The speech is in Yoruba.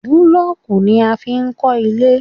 Búlọ̀kù ni a fi n kọ́ ilé